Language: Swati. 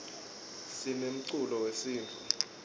sinemculo wesintfu